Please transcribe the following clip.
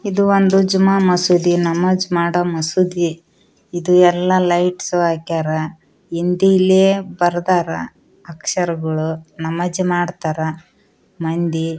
ಇದು ಒಂದು ಜುಮ್ಮ ಮಸೀದಿ ನಮಾಜ್‌ ಮಾಡುವ ಮಸೀದಿ ಇದು ಎಲ್ಲಾ ಲೈಟ್ಸ್‌ ಹಾಕಿದ್ದಾರೆ ಹಿಂದಿಯಲ್ಲಿ ಬರೆದಿದ್ದಾರೆ ಅಕ್ಷರಗಳು ನಮಾಜ್‌ ಮಾಡ್ತಾರೆ ಮಂದಿ.